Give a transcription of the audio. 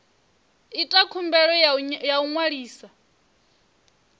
ita khumbelo ya u ṅwalisa